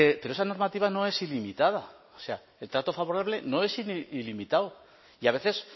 pero esa normativa no es ilimitada el trato favorable no es ilimitado y a veces